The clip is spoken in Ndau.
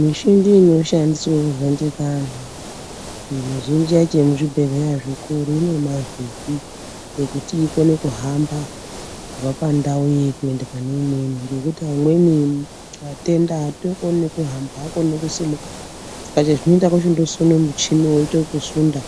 Michini inoshandiswa kuvhendenya anhu mizhinji yacho yemuzvibhendleya zvikuru inenge ine mavhiri yekuti ikone kuhamba kubva pandau iyi kuenda pane imweni ngekuti amweni atenda aatookoni nekuhamba aakoni nekusimuka asi chezvinoita kuchindosunda michini weiita wekusunda